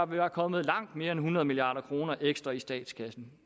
være kommet langt mere end hundrede milliard kroner ekstra i statskassen